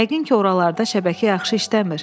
Yəqin ki, oralarda şəbəkə yaxşı işləmir.